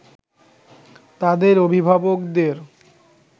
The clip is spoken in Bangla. তাদের অভিভাবকদের